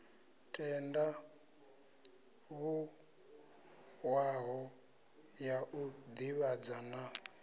tandavhuwaho ya u divhadza na